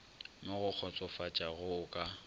mo go kgotsofatšago o ka